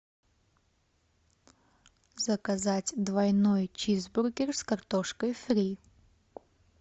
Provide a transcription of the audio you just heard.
заказать двойной чизбургер с картошкой фри